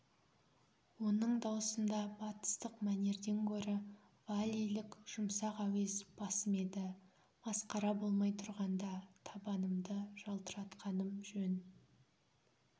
оның даусында батыстық мәнерден гөрі валлийлік жұмсақ әуез басым еді масқара болмай тұрғанда табанымды жалтыратқаным жөн